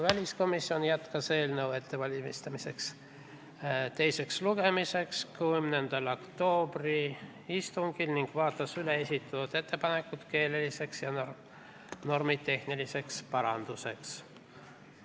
10. oktoobri istungil jätkas väliskomisjon eelnõu teise lugemise ettevalmistamist ning vaatas üle esitatud keeleliste ja normitehniliste paranduste ettepanekud.